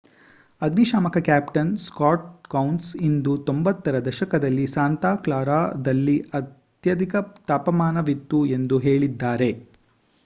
ಅಗ್ನಿಶಾಮಕ captain Scott ಕೌನ್ಸ್ ಇದು 90 ರ ದಶಕದಲ್ಲಿ ಸಾಂತಾ ಕ್ಲಾರಾದಲ್ಲಿ ಅತ್ಯಧಿಕ ತಾಪಮಾನವಿತ್ತು ಎಂದು ಹೇಳಿದ್ದಾರೆ